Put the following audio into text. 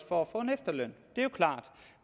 for at få efterløn det er klart